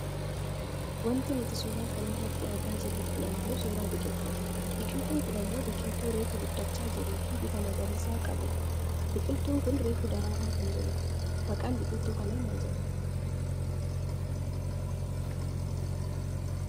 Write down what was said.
Wanti nuti suuraa kanarratti argaa jirru kun ammoo suuraa biqiltuudha. Biqiltuun kun ammoo biqiqltuu reefu guddachaa jirtuufi bifa magariisaa qabfudha. Biqiqltuu kun reefu daraaraa kan jirudha. Maqaan biqiltuu kanaa maal jedhama?